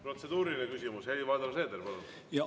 Protseduuriline küsimus, Helir-Valdor Seeder, palun!